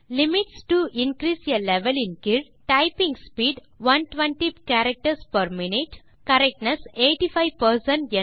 limits to increase ஆ level ன் கீழ் typing speed 120 characters per minute correctness 85